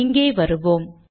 இங்கே வருவோம்